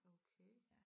Okay